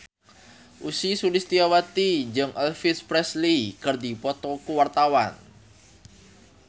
Ussy Sulistyawati jeung Elvis Presley keur dipoto ku wartawan